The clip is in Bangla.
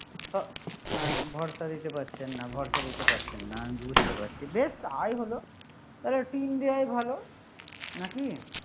খড়টা দিতে পারছেন না, খড়টা দিতে পারছেন না, আমি বুঝতে পারছি। বেস তাই হলো টিন দেওয়ায় ভালো। নাকি?